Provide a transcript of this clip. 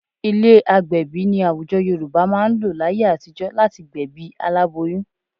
Ilé agbẹ̀bí ni àwùjọ Yorùbá máa ń lò láyé àtijọ́ láti gbẹ̀bí aláboyún